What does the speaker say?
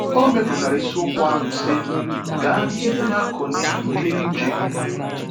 Ọ mepụtara isiokwu ahụ sị: “Gaa n’ihu na akọnye ‘Ike Uche Gị.’”